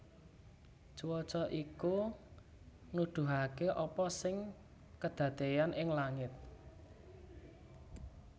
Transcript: Cuaca iku nuduhaké apa sing kedadéyan ing langit